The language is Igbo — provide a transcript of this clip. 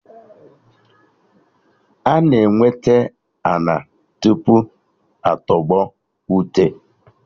Ana enweta ana tupu atọgbọ ute